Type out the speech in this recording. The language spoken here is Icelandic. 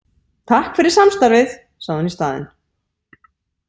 Takk fyrir samstarfið, sagði hún í staðinn.